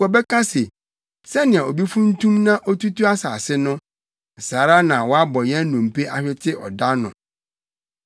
Wɔbɛka se, “Sɛnea obi funtum na otutu asase no, saa ara na wɔabɔ yɛn nnompe ahwete ɔda ano.”